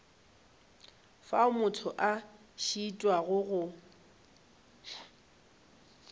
fao motho a šitwago go